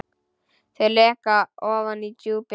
Þau leka ofan í djúpin.